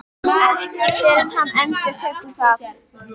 Ekki fyrr en hann endurtekur það.